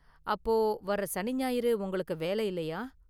அப்போ, வர்ற சனி ஞாயிறு உங்களுக்கு வேல இல்லயா?